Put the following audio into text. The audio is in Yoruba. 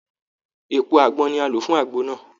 Èpo àgbọn ni a lò fún àgbo náà